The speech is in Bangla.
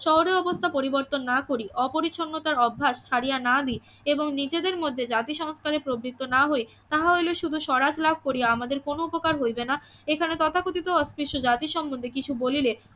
শহরের অবস্থা পরিবর্তন না করি অপরিচ্ছন্নতার অভ্যাস ছাড়িয়া না দি এবং নিজেদের মধ্যে জাতি সংস্থানে প্রবৃত্ত না হই তাহা হইলে শুধু স্বরাজ লাভ করিয়া আমাদের কোনও উপকার হইবে না এখানে তথাকথিত অস্পৃশ্য জাতি সম্বন্ধে কিছু বলিলে